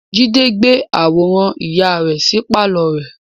Jide gbé àwòrán ìyá rẹ sí pàlọ́ rẹ̀